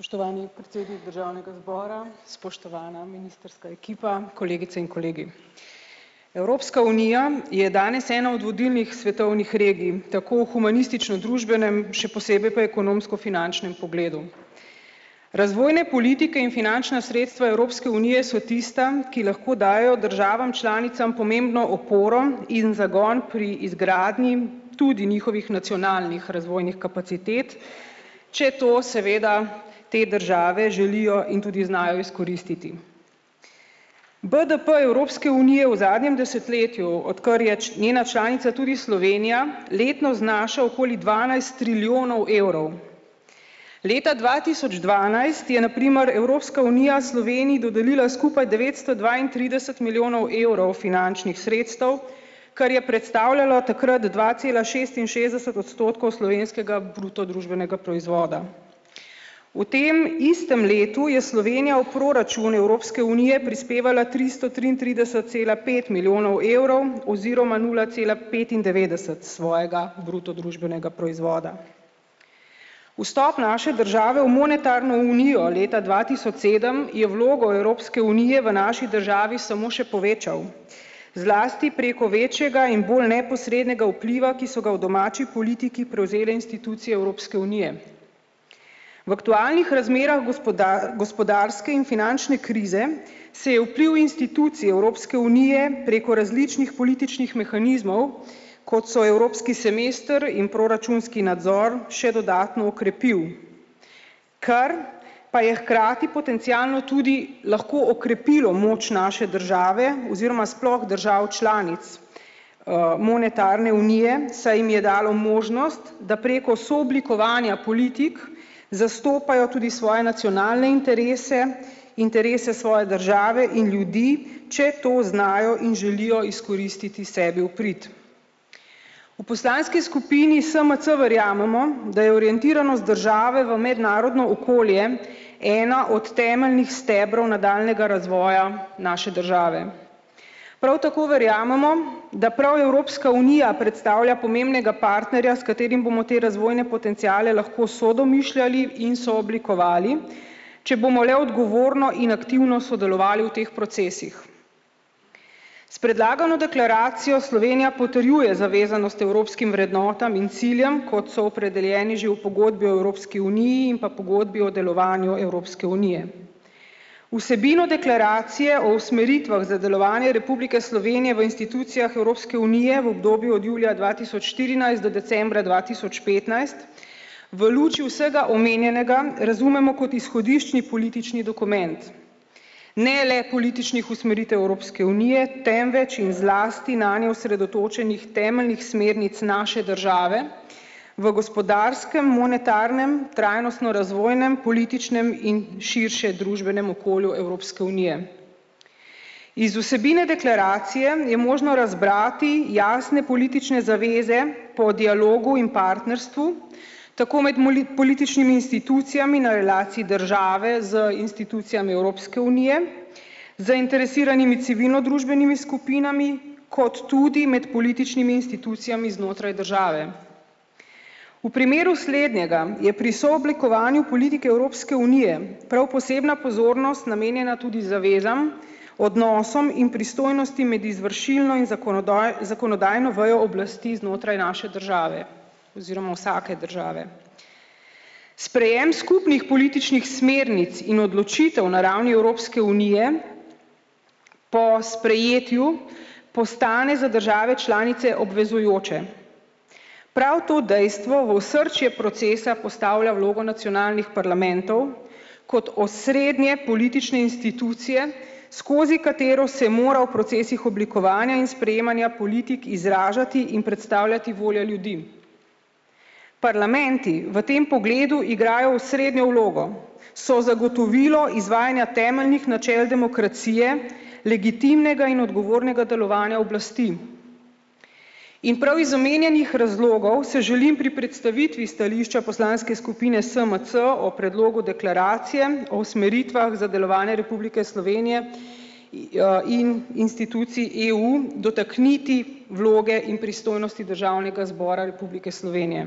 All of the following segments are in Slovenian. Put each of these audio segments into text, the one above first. Spoštovani predsednik državnega zbora, spoštovana ministrska ekipa, kolegice in kolegi. Evropska unija je danes ena od vodilnih svetovnih regij, tako v humanistično družbenem, še posebej pa ekonomsko-finančnem pogledu. Razvojne politike in finančna sredstva Evropske unije so tista, ki lahko dajejo državam članicam pomembno oporo in zagon pri izgradnji tudi njihovih nacionalnih razvojnih kapacitet, če to seveda te države želijo in tudi znajo izkoristiti. BDP Evropske unije v zadnjem desetletju, odkar je njena članica tudi Slovenija, letno znaša okoli dvanajst trilijonov evrov. Leta dva tisoč dvanajst je na primer Evropska unija Sloveniji dodelila skupaj devetsto dvaintrideset milijonov evrov finančnih sredstev, kar je predstavljalo takrat dva cela šestinšestdeset odstotkov slovenskega bruto družbenega proizvoda. V tem istem letu je Slovenija v proračun Evropske unije prispevala tristo triintrideset cela pet milijonov evrov oziroma nula cela petindevetdeset svojega bruto družbenega proizvoda. Vstop naše države v monetarno unijo leta dva tisoč sedem je vlogo Evropske unije v naši državi samo še povečal, zlasti preko večjega in bolj neposrednega vpliva, ki so ga v domači politiki prevzele institucije Evropske unije. V aktualnih razmerah gospodarske in finančne krize se je vpliv institucij Evropske unije preko različnih političnih mehanizmov, kot so evropski semester in proračunski nadzor še dodatno okrepil. Kar pa je hkrati potencialno tudi lahko okrepilo moč naše države oziroma sploh držav članic, monetarne unije, saj jim je dalo možnost, da preko sooblikovanja politik zastopajo tudi svoje nacionalne interese, interese svoje države in ljudi, če to znajo in želijo izkoristiti sebi v prid. V poslanski skupini SMC verjamemo, da je orientiranost države v mednarodno okolje ena od temeljnih stebrov nadaljnjega razvoja naše države. Prav tako verjamemo, da prav Evropska unija predstavlja pomembnega partnerja, s katerim bomo te razvojne potenciale lahko sodomišljali in sooblikovali, če bomo le odgovorno in aktivno sodelovali v teh procesih. S predlagano deklaracijo Slovenija potrjuje zavezanost evropskim vrednotam in ciljem, kot so opredeljeni že v Pogodbi o Evropski uniji in pa Pogodbi o delovanju Evropske unije. Vsebino deklaracije o usmeritvah za delovanje Republike Slovenije v institucijah Evropske unije v obdobju od julija dva tisoč štirinajst do decembra dva tisoč petnajst v luči vsega omenjenega razumemo kot izhodiščni politični dokument. Ne le političnih usmeritev Evropske unije, temveč in zlasti nanjo osredotočenih temeljnih smernic naše države v gospodarskem, monetarnem, trajnostno razvojnem, političnem in širšem družbenem okolju Evropske unije. Iz vsebine deklaracije je možno razbrati jasne politične zaveze po dialogu in partnerstvu tako med političnim institucijami na relaciji države z institucijami Evropske unije, zainteresiranimi civilnodružbenimi skupinami kot tudi med političnimi institucijami znotraj države. V primeru slednjega je pri sooblikovanju politike Evropske unije prav posebna pozornost namenjena tudi zavezam, odnosom in pristojnostim med izvršilno in zakonodajno vejo oblasti znotraj naše države oziroma vsake države. Sprejem skupnih političnih smernic in odločitev na ravni Evropske unije po sprejetju postane za države članice obvezujoč. Prav to dejstvo v osrčje procesa postavlja vlogo nacionalnih parlamentov kot osrednje politične institucije, skozi katero se mora v procesih oblikovanja in sprejemanja politik izražati in predstavljati volja ljudi. Parlamenti v tem pogledu igrajo osrednjo vlogo so zagotovilo izvajanja temeljnih načel demokracije legitimnega in odgovornega delovanja oblasti. In prav iz omenjenih razlogov se želim pri predstavitvi stališča poslanske skupine SMC o predlogu deklaracije o usmeritvah za delovanje Republike Slovenije in institucij EU dotakniti vloge in pristojnosti državnega zbora Republike Slovenije.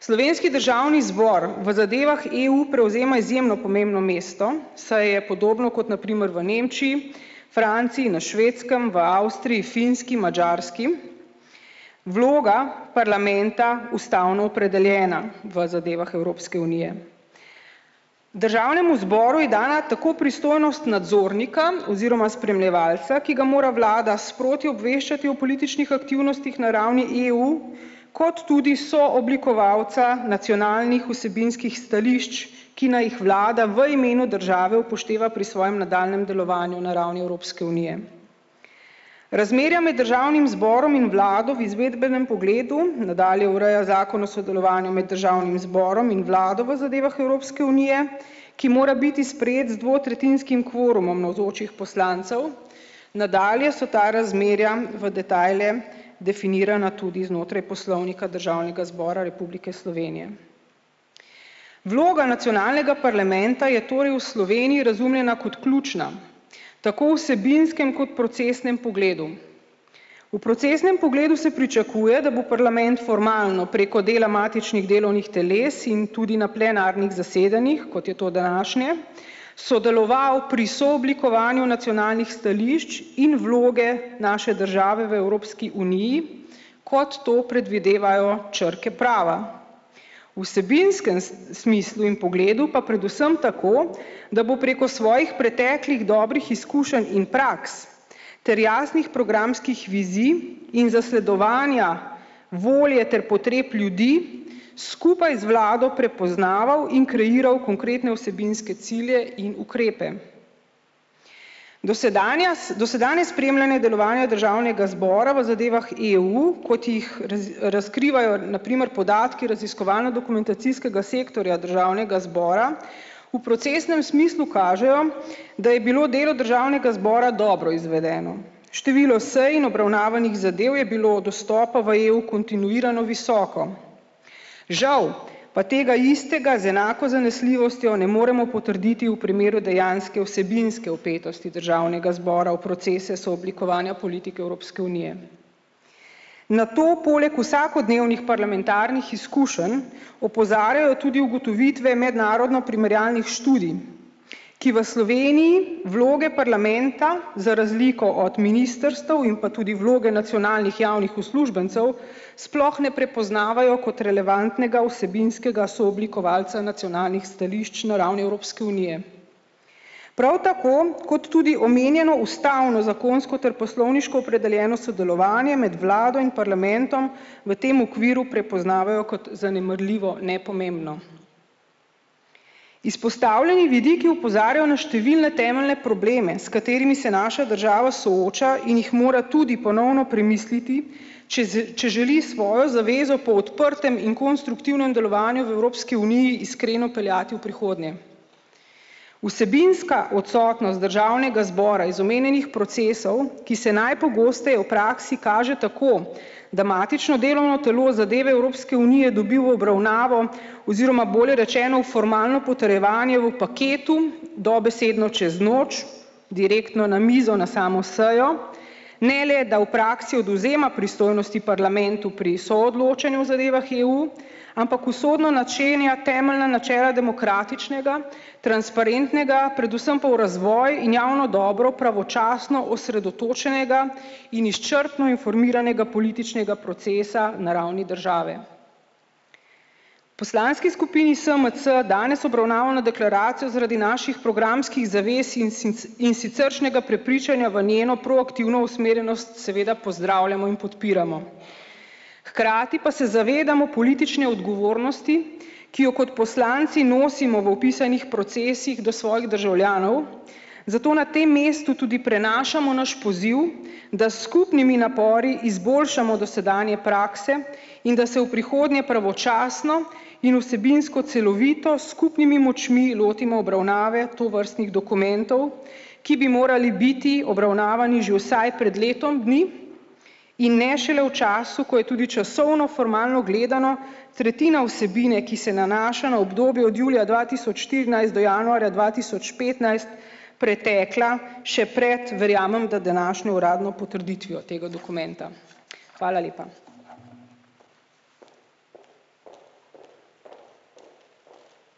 Slovenski državni zbor v zadevah EU prevzema izjemno pomembno mesto, saj je podobno kot na primer v Nemčiji, Franciji, na Švedskem, v Avstriji, Finski, Madžarski, vloga parlamenta ustavno opredeljena v zadevah Evropske unije. Državnemu zboru je dana tako pristojnost nadzornika oziroma spremljevalca, ki ga mora vlada sproti obveščati o političnih aktivnostih na ravni EU kot tudi sooblikovalca nacionalnih vsebinskih stališč, ki naj jih vlada v imenu države upošteva pri svojem nadaljnjem delovanju na ravni Evropske unije. Razmerja med državnim zborom in vlado v izvedbenem pogledu nadalje ureja zakon o sodelovanju med državnim zborom in vlado v zadevah Evropske unije, ki mora biti sprejet z dvotretjinskim kvorumom navzočih poslancev, nadalje so ta razmerja v detajle definirana tudi znotraj Poslovnika Državnega zbora Republike Slovenije. Vloga nacionalnega parlamenta je torej v Sloveniji razumljena kot ključna tako v vsebinskem kot procesnem pogledu. V procesnem pogledu se pričakuje, da bo parlament formalno preko dela matičnih delovnih teles in tudi na plenarnih zasedanjih, kot je to današnje, sodeloval pri sooblikovanju nacionalnih stališč in vloge naše države v Evropski uniji, kot to predvidevajo črke prava. V vsebinskem smislu in pogledu pa predvsem tako, da bo preko svojih preteklih dobrih izkušenj in praks ter jasnih programskih vizij in zasledovanja volje ter potreb ljudi skupaj z vlado prepoznaval in kreiral konkretne vsebinske cilje in ukrepe. Dosedanja dosedanje spremljanje delovanja državnega zbora v zadevah EU, kot jih razkrivajo na primer podatki raziskovalno-dokumentacijskega sektorja državnega zbora v procesnem smislu kažejo, da je bilo delo državnega zbora dobro izvedeno. Število s in obravnavanih zadev je bilo od vstopa v EU kontinuirano visoko. Žal pa tega istega z enako zanesljivostjo ne moremo potrditi v primeru dejanske vsebinske vpetosti državnega zbora v procese sooblikovanja politike Evropske unije. Na to poleg vsakodnevnih parlamentarnih izkušenj opozarjajo tudi ugotovitve mednarodno primerjalnih študij, ki v Sloveniji vloge parlamenta za razliko od ministrstev in pa tudi vloge nacionalnih javnih uslužbencev sploh ne prepoznavajo kot relevantnega vsebinskega sooblikovalca nacionalnih stališč na ravni Evropske unije. Prav tako kot tudi omenjeno ustavno zakonsko ter poslovniško opredeljeno sodelovanje med vlado in parlamentom v tem okviru prepoznavajo kot zanemarljivo, nepomembno. Izpostavljeni vidiki opozarjajo na številne temeljne probleme, s katerimi se naša država sooča in jih mora tudi ponovno premisliti, če če želi svojo zavezo po odprtem in konstruktivnem delovanju v Evropski uniji iskreno peljati v prihodnje. Vsebinska odsotnost državnega zbora iz omenjenih procesov, ki se najpogosteje v praksi kaže tako, da matično delovno telo zadeve Evropske unije dobi v obravnavo oziroma bolje rečeno v formalno potrjevanje v paketu dobesedno čez noč, direktno na mizo na samo sejo, ne le da v praksi odvzema pristojnosti parlamentu pri soodločanju zadevah EU, ampak usodno načenja temeljna načela demokratičnega transparentnega predvsem pa v razvoj in javno dobro pravočasno osredotočenega in izčrpno informiranega političnega procesa na ravni države. Poslanski skupini SMC danes obravnavano deklaracijo zaradi naših programskih zavez in in siceršnjega prepričanja v njeno proaktivno usmerjenost seveda pozdravljamo in podpiramo. Hkrati pa se zavedamo politične odgovornosti, ki jo kot poslanci nosimo v opisanih procesih do svojih državljanov, zato na tem mestu tudi prenašamo naš poziv, da s skupnimi napori izboljšamo dosedanje prakse in da se v prihodnje pravočasno in vsebinsko celovito s skupnimi močmi lotimo obravnave tovrstnih dokumentov, ki bi morali biti obravnavani že vsaj pred letom dni in ne šele v času, ko je tudi časovno, formalno gledano, tretjina vsebine, ki se nanaša na obdobje od julija dva tisoč štirinajst do januarja dva tisoč petnajst, pretekla še pred, verjamem, da, današnjo uradno potrditvijo tega dokumenta. Hvala lepa.